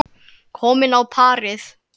Komin á parið.